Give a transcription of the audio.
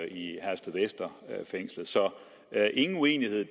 i herstedvester så ingen uenighed